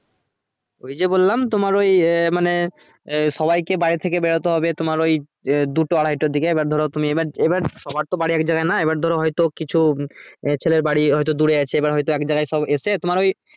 ওই যে বললাম তোমার ওই মানে এ সবাই কে বাড়ির থেকে বেরোতে হবে তোমার ওই এ দুটো আড়াইটের দিকে এবার ধরো তুমি এবার এবার সবার তো বাড়ি এক জায়গায় না এবার ধরো হয়তো কিছু এ ছেলের বাড়ি হয়ে তো দূরে আছে এবার হয়তো এক জায়গায় সব এসে তোমার ওই